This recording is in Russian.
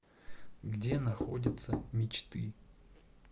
где находится мечты